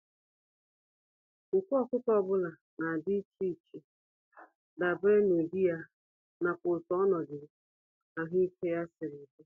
Nku ọkụkọ ọbula nadi íchè iche, dabere n'ụdị ya, n'akwa otú ọnọdụ ahụike ya siri dị.